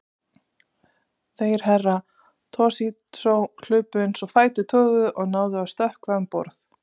Þeir Herra Toshizo hlupu eins og fætur toguðu og náðu að stökkva um borð.